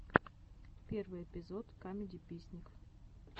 первый эпизод камедиписник